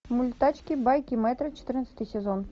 мульт тачки байки мэтра четырнадцатый сезон